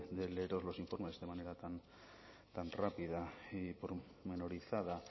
de leeros los informes de manera tan rápida y pormenorizada